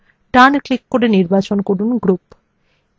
ডান click করে নির্বাচন করুন group